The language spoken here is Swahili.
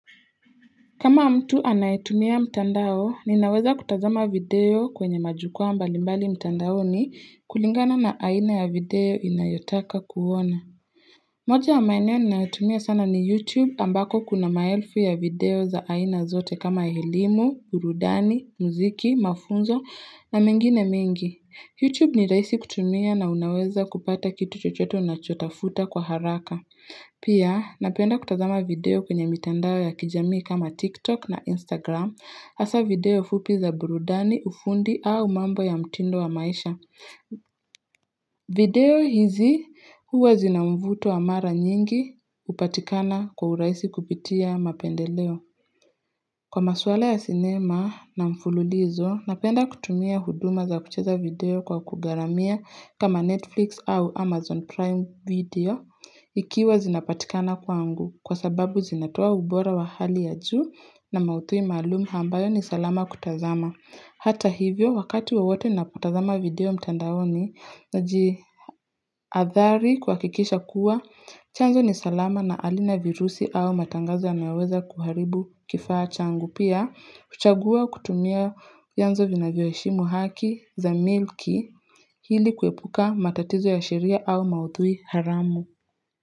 Kama mtu anayetumia mtandao, ninaweza kutazama video kwenye majukwaa mbalimbali mtandaoni kulingana na aina ya video ninayotaka kuona. Moja ya maeneo ninayotumia sana ni YouTube ambako kuna maelfu ya video za aina zote kama elimu, burudani, muziki, mafunzo na mengine mingi. YouTube ni rahisi kutumia na unaweza kupata kitu chochote unachotafuta kwa haraka. Pia napenda kutazama video kwenye mitandao ya kijamii kama TikTok na Instagram hasa video fupi za burudani ufundi au mambo ya mtindo wa maisha. Video hizi huwa zina mvuto na mara nyingi hupatikana kwa urahisi kupitia mapendeleo. Kwa maswala ya sinema na mfululizo, napenda kutumia huduma za kucheza video kwa kugharamia kama Netflix au Amazon Prime video ikiwa zinapatikana kwangu kwa sababu zinatoa ubora wa hali ya juu na maudhui maalum ambayo ni salama kutazama. Hata hivyo wakati wawote napotazama video mtandaoni naji athari kuhakikisha kuwa chanzo ni salama na halina virusi au matangazo yameweza kuharibu kifaa changu. Pia, kuchagua kutumia vyanzo vinavyoheshimu haki za milki ili kuepuka matatizo ya sheria au maudhui haramu.